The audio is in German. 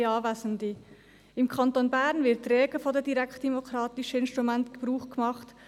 Im Kanton Bern wird rege von den direktdemokratischen Instrumenten Gebrauch gemacht.